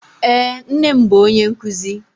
Eé, nne m bụ onye nkụzi.